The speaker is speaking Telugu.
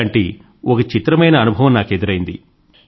ఇలాంటి ఒక చిత్రమైన అనుభవం నాకు ఎదురైంది